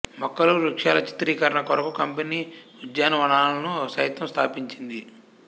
మొక్కలు వృక్షాల చిత్రీకరణ కొరకు కంపెనీ ఉద్యానవనాలను సైతం స్థాపించింది